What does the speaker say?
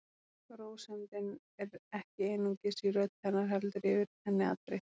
Rósemdin er ekki einungis í rödd hennar heldur yfir henni allri.